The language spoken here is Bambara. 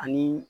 Ani